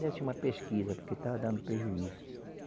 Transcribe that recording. Desse uma pesquisa, porque estava dando prejuízo.